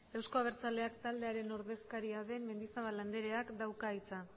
euzko abertzaleak taldearen ordezkaria den mendizabal andreak dauka hitza